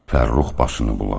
Fərrux başını buladı.